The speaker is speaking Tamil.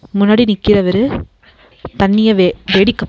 முன்னாடி நிக்கிறவரு தண்ணிய வெ வெடிக்க பாக்--